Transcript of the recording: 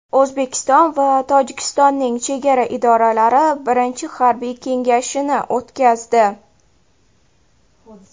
O‘zbekiston va Tojikistonning chegara idoralari birinchi harbiy kengashini o‘tkazdi.